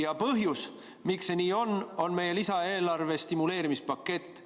Ja põhjus, miks see nii on, on meie lisaeelarve stimuleerimispakett.